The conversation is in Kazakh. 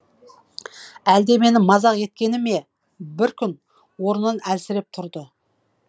әлде мені мазақ еткені ме бір күн орнын әлсіреп тұрды